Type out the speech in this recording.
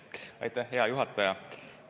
Aitäh, hea juhataja!